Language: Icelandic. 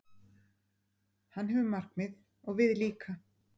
Hann hefur markmið, og við líka.